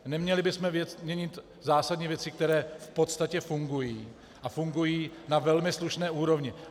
Neměli bychom měnit zásadní věci, které v podstatě fungují, a fungují na velmi slušné úrovni.